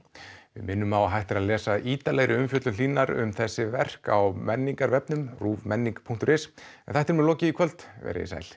við minnum á að hægt er að lesa ítarlegri umfjöllun Hlínar um þessi verk á menningarvefnum ruvmenning punktur is en þættinum er lokið í kvöld veriði sæl